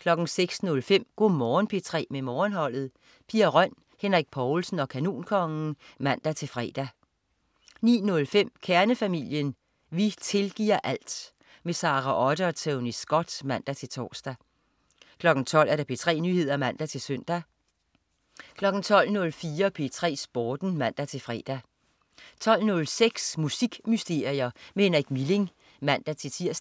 06.05 Go' Morgen P3 med Morgenholdet. Pia Røn, Henrik Povlsen og Kanonkongen (man-fre) 09.05 Kernefamilien. Vi tilgiver alt! Sara Otte og Tony Scott (man-tors) 12.00 P3 Nyheder (man-søn) 12.04 P3 Sporten (man-fre) 12.06 Musikmysterier med Henrik Milling (man-tirs)